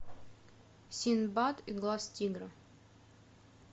синдбад и глаз тигра